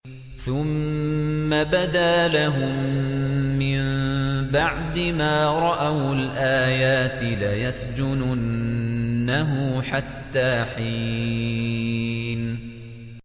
ثُمَّ بَدَا لَهُم مِّن بَعْدِ مَا رَأَوُا الْآيَاتِ لَيَسْجُنُنَّهُ حَتَّىٰ حِينٍ